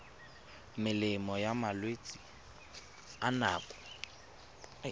melemo ya malwetse a nako